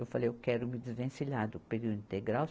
Eu falei, eu quero me desvencilhar do período integral.